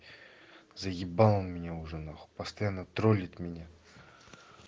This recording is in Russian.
заебал он меня уже нахуй постоянно тролит меня